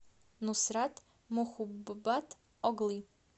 нусрат мохуббатоглы